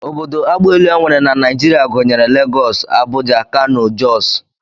Obodo agbaelu e nwere na Naijiria gụnyere Legọs, Abuja, Kano, Jọs